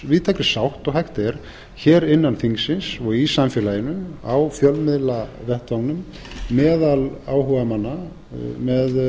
víðtækri sátt og hægt er hér innan þingsins og í samfélaginu á fjölmiðlavettvanginum meðal áhugamanna með